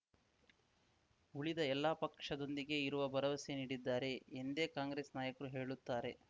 ಉಳಿದ ಎಲ್ಲಾ ಪಕ್ಷದೊಂದಿಗೆ ಇರುವ ಭರವಸೆ ನೀಡಿದ್ದಾರೆ ಎಂದೇ ಕಾಂಗ್ರೆಸ್‌ ನಾಯಕರು ಹೇಳುತ್ತಾರೆ